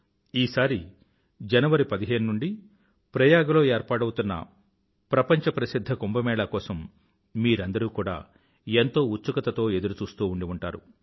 ఈసారి జనవరి పదిహేను నుండీ ప్రయాగ లో ఏర్పాటవుతున్న ప్రపంచ ప్రసిధ్ధ కుంభ మేళా కోసం మీరందరూ కూడా ఎంతో ఉత్సుకతతో ఎదురుచూస్తూ ఉండి ఉంటారు